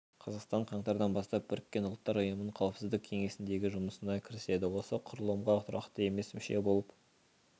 қазақстан қаңтардан бастап біріккен ұлттар ұйымының қауіпсіздік кеңесіндегі жұмысына кіріседі осы құрылымға тұрақты емес мүше болып